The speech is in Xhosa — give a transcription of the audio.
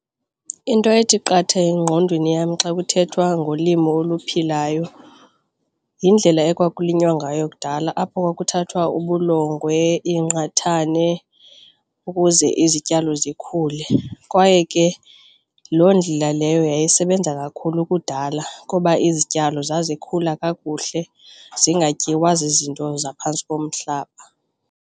Into ethi qatha engqondweni yam xa kuthethwa ngolimo oluphilayo yindlela ekwakulinywa ngayo kudala apho kwakuthathwa ubulongwe iingqathane ukuze izityalo zikhule kwaye ke loo ndlela leyo yayisebenza kakhulu kudala kuba izityalo zazikhula kakuhle zingatyiwa zizinto zaphantsi komhlaba.